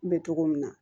N bɛ togo min na